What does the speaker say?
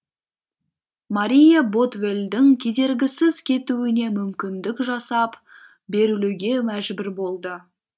мария ботвеллдің кедергісіз кетуіне мүмкіндік жасап берілуге мәжбүр болды